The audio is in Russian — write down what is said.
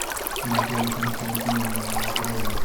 наталье константиновне лавровой